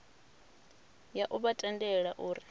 ya u vha tendela uri